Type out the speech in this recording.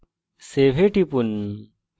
save এ টিপুন